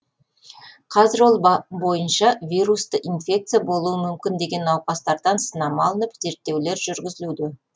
қазір ол бойынша вирусты инфекция болуы мүмкін деген науқастардан сынама алынып зерттеулер жүргізілуде